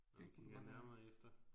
Det kunne det godt være